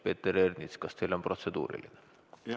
Peeter Ernits, kas teil on protseduuriline?